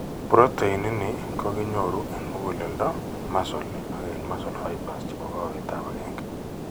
Protein ii ni ko kinyoru eng' muguleldo muscle ak eng' muscle fibersche po koweetap 1.